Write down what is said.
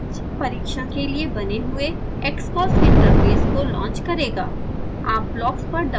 यह step test परिक्षण के लिए बने हुए xcos interface को लॉन्च करेगा